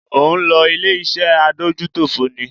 Ò ń lọ ilé-iṣẹ́ Adójútòfò ni?